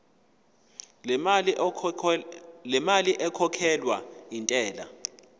lemali ekhokhelwa intela